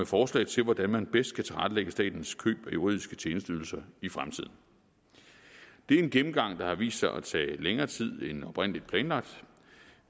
forslag til hvordan man bedst kan tilrettelægge statens køb af juridiske tjenesteydelser i fremtiden det er en gennemgang der har vist sig at tage længere tid end oprindelig planlagt